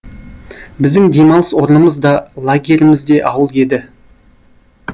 біздің демалыс орнымыз да лагеріміз де ауыл еді